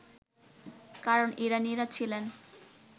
কারণ ইরানীরা ছিলেন